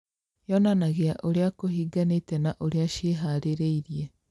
Yonanagia ũrĩa kũhinganĩte na ũrĩa ciĩhĩrĩirie